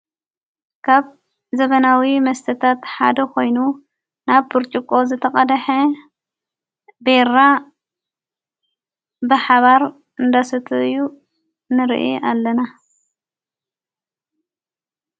ካብ ዘበናዊ መስተታትሓደ ኾይኑ ናብ ጵርጭቆ ዘተቐድሐ ቤራ ብሓባር እንዳሰተዩ ንርአ ኣለና።